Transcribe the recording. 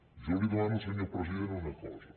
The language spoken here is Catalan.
jo li demano senyor president una cosa